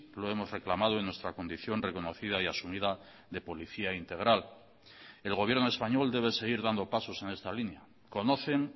lo hemos reclamado en nuestra condición reconocida y asumida de policía integral el gobierno español debe seguir dando pasos en esta línea conocen